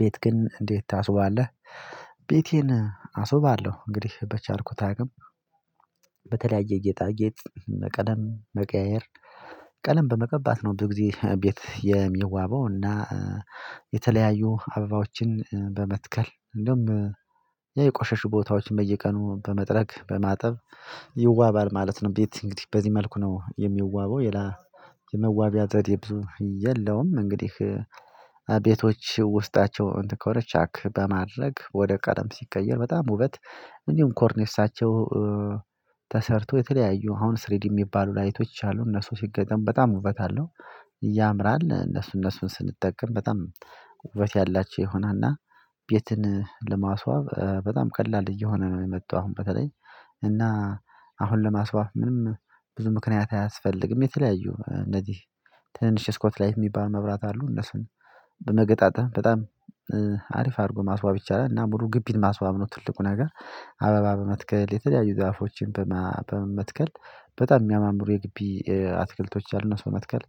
ቤት ግን እንዴት ታስውባለህ? ቤቴን አስውባለሁ እንግዲህ በቻልኩት አቅም በተለያየ ጌጣጌጥ ቀለም መቀያየር ቀለም በመቀባት ነው ብዙ ጊዜ ቤት የሚዋበው እና የተለያዩ አበባዎችን በመትከል እንደውም የቆሸሹ ቦታዎችን በየቀኑ በመጥረግ በማጠብ ይዋባል ማለት ነው ቤት እንግዲህ በዚህ መልኩ ነው የሚዋበው የመዋቢያ ዘዴ ብዙ የለውም እንግዲህ ቤቶች ውስጣቸው ኮርቻክ በማድረግ ወደ ቀረም ሲቀየር በጣም ውበት እንዲሁም ኮርኔሳቸው የተለያዩ አሁን ስሪዲ የሚባሉ ላይቶች አሉ እነሱ ሲገጠም በጣም ውበት አለው ያምራል እነሱ እነሱን ስንጠቀም በጣም ውበት ያላቸው ይሆናል እና ቤትን ለማስዋብ በጣም ቀላል እየሆነ ነው የመጣው አሁን በተለይ እና አሁን ለማስዋብ ምንም ብዙ ምክንያት አያስፈልግም የተለያዩ እነዚህ ትንሽ ስኮት ላይት የሚባል መብራት አሉ እነሱን በመገጣጠም በጣም አሪፍ አድርጎ ማስዋብ ይቻላል እና ሙሉ ግቢን ማስዋብ ነው ትልቁ ነገር አበባ በመትከል የተለያዩ ዛፎችን በመመትከል በጣም የሚያማምሩ የግቢ አትክልቶች አሉና አነሱን በመትከል